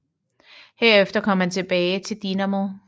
Herefter kom han tilbage til Dinamo